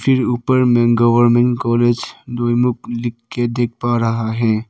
फिर ऊपर में गवर्मेंट कॉलेज दोईमुख लिख के देख पा रहा है।